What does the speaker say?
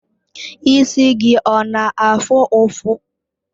Isi gị ọ na-afụ ụfụ?